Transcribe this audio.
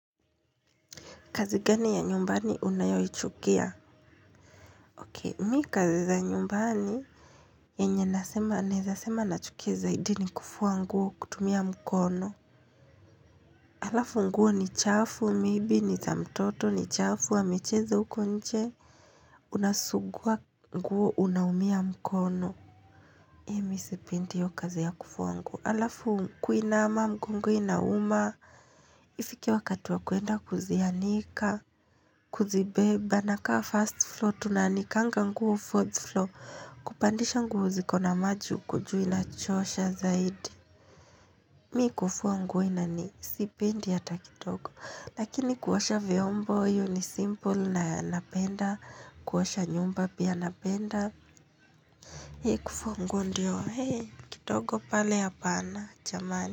Kazi gani ya nyumbani unayoichukia? Ok mi kazi za nyumbani yenye nasema naezasema nachukia zaidi ni kufua nguo kutumia mkono alafu nguo ni chafu maybe ni za mtoto ni chafu amecheza uko nje unasugua nguo unaumia mkono hii mi sipindi hiyo kazi ya kufua nguo. Alafu kuinama mgongo inauma ifike wakati wa kuenda kuzianika kuzibeba nakaa first floor tunaanikanga nguo fourth floor Kupandisha nguo zikona maji huko juu inachosha zaidi. Mi kufua nguo inani sipendi hata kitogo. Lakini kuosha vyombo hio ni simple na napenda kuosha nyumba pia napenda hii kufua nguo ndio ehe kidogo pale hapana chamani.